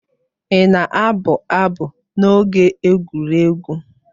Ị na-abụ abụ n'oge egwuregwu?